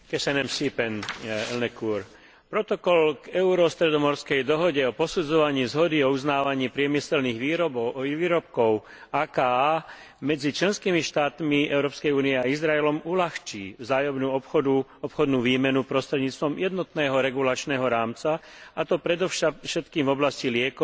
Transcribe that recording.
Protokol k Euro stredomorskej dohode o posudzovaní zhody a uznávaní priemyselných výrobkov medzi členskými štátmi Európskej únie a Izraelom uľahčí vzájomnú obchodnú výmenu prostredníctvom jednotného regulačného rámca, a to predovšetkým v oblasti liekov a farmaceutík a najmä generík.